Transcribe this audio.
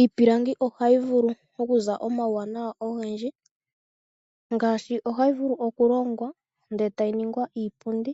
Iipilangi ohayi vulu okuza omauwanawa ogendji ngashi ohayi vulu oku longwa ndele yltayi ningwa iipundi,